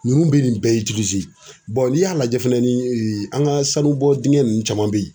Ninnu bɛ nin bɛɛ . n'i y'a lajɛ fɛnɛ ni an ŋa sanubɔ diŋɛ ninnu caman be ye